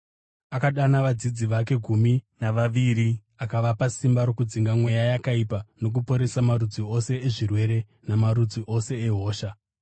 Akadana vadzidzi vake gumi navaviri akavapa simba rokudzinga mweya yakaipa nokuporesa marudzi ose ezvirwere namarudzi ose ehosha.